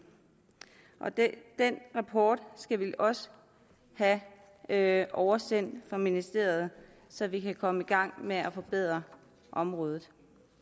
den rapport skal vi også have oversendt fra ministeriet så vi kan komme i gang med at forbedre området